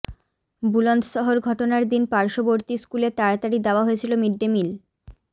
বুলন্দশহর ঘটনার দিন পার্শ্ববর্তী স্কুলে তাড়াতাড়ি দেওয়া হয়েছিল মিড ডে মিল